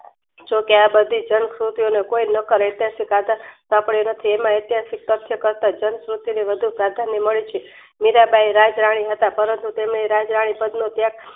જોકે આબધી જાણ સ્તુતિ નેકોઈ ઐતિહાસિક રાજા એમાં ઐતિહાસિક કરતા જાણ સ્તુતિનું વધુ પરાધનય મળે છે મીરાંબાઈ રાજ રાણી હતા પરંતુ તેને રાજરાણી પદ નું ત્યાગ